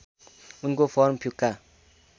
उनको फर्म फिक्का